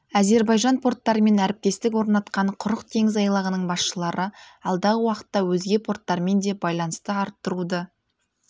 әзербайжан порттарымен әріптестік орнатқан құрық теңіз айлағының басшылары алдағы уақытта өзге порттармен де байланысты арттыруды